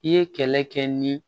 I ye kɛlɛ kɛ ni